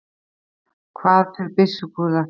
hvað fer byssukúla hratt